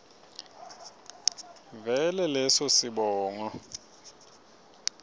vele leso sibongo